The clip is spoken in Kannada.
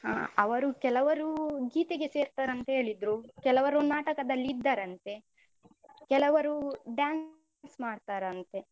ಹ ಅವರು ಕೆಲವರು ಗೀತೆಗೆ ಸೇರ್ತಾರಂತ ಹೇಳಿದ್ರು, ಕೆಲವರು ನಾಟಕದಲ್ಲಿ ಇದ್ದಾರಂತೆ. ಕೆಲವರು dance ಮಾಡ್ತಾರಂತೆ.